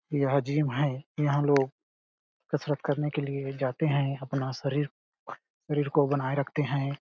यह जिम है यहाँ लोग कसरत करने के लिए जाते है अपना शरीर शरीर को बनाये रखते हैं ।